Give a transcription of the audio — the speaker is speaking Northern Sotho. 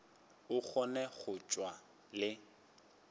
a kgone go tšwa le